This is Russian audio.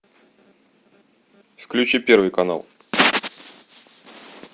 включи первый канал